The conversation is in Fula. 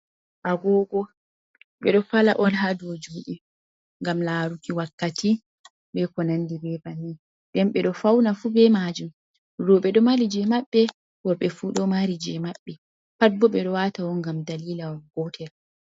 Agogo ɓe ɗo fala on ha dou juuɗe ngam laaruki wakkati be ko nandi be bannin, nden ɓe ɗo fauna fuu be majum roɓe ɗo mari je maɓɓe worɓe fuu ɗo mari je maɓɓe, pat bo ɓe ɗo wata on ngam dalila gootel.